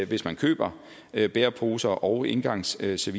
hvis man køber bæreposer og engangsservice